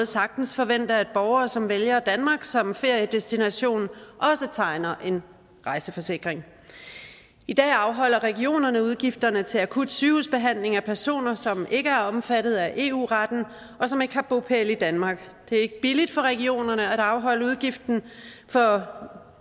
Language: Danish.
sagtens forvente at borgere som vælger danmark som feriedestination også tegner en rejseforsikring i dag afholder regionerne udgifterne til akut sygehusbehandling af personer som ikke er omfattet af eu retten og som ikke har bopæl i danmark det er ikke billigt for regionerne at afholde udgiften for